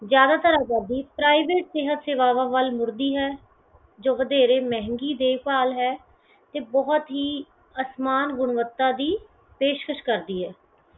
ਜ਼ਿਆਦਾਤਰ ਆਜ਼ਾਦੀ private ਸਿਹਤ ਸੇਵਾਵਾਂ ਵੱਲ ਮੁੜਦੀ ਹੈ ਜੋ ਬਥੇਰੇ ਮਹਿੰਗੀ ਦੇਖ ਭਾਲ਼ ਹੈ ਤੇ ਬਹੁਤ ਹੀ ਅਸਮਾਨ ਗੁਣਵੱਤਾ ਦੀ ਪੇਸ਼ਕਸ਼ ਕਰਦੀ ਹੈ।